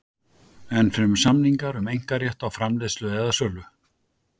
Ennfremur samningar um einkarétt á framleiðslu eða sölu.